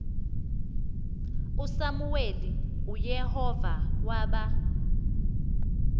usamuweli uyehova waba